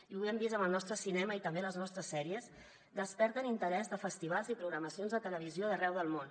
i ho hem vist amb el nostre cinema i tam·bé amb les nostres sèries desperten interès de festivals i programacions de televisió d’arreu del món